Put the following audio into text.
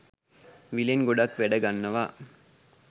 විලෙන් ගොඩක් වැඩ ගන්නවා.